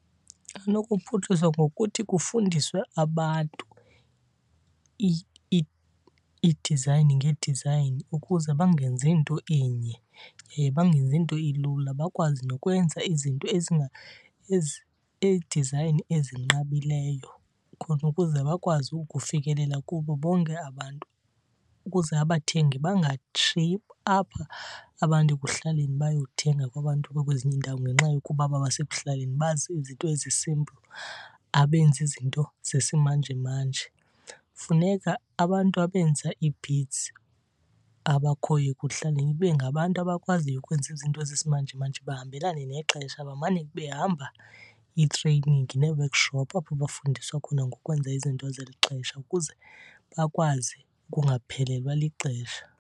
Anokuphuhliswa ngokuthi kufundiswe abantu ii-design ngee-design ukuze bangenzi nto inye yaye bangenzi nto ilula, bakwazi nokwenza izinto ii-design ezinqabileyo. Khona ukuze bakwazi ukufikelela kubo bonke abantu ukuze abathengi bangatshiyi apha abantu ekuhlaleni bayothenga kwabantu abakwezinye iindawo ngenxa yokuba aba basekuhlaleni bazi izinto ezi-simple, abenzi izinto zesimanjemanje. Funeka abantu abenza ii-beads abakhoyo ekuhlaleni ibe ngabantu abakwaziyo ukwenza izinto zesimanjemanje, bahambelane nexesha. Bamane behamba ii-training nee-workshop apho bafundiswa khona ngokwenza izinto zeli xesha ukuze bakwazi ukungaphelelwa lixesha.